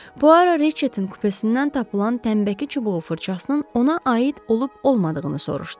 Puaro Reçetin kupesindən tapılan tənnbəki çubuğu fırçasının ona aid olub-olmadığını soruşdu.